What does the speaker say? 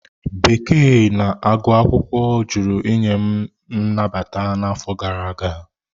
Bekee na agụ akwụkwọ jụrụ inye m nnabata n'afọ gara aga.